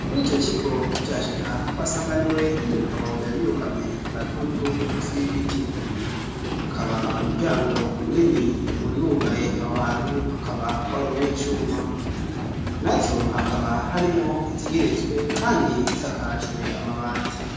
Kuri ico kigo tukihashika twasanganiwe n'umugabo yari yugamye agatutu munsi y'igiti ,hakaba umuryango munini wari wugaye aho hantu akaba wari uw' icuma ,nazo hakaba harimwo izigeretswe kandi zisakajwe amabati.